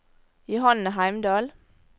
Johanne Heimdal